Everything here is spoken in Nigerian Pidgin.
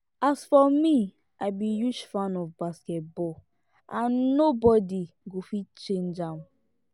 as for me i be huge fan of basket ball and nobody go fit change am